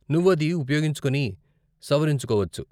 నువ్వు అది ఉపయోగించుకుని, సవరించుకోవచ్చు .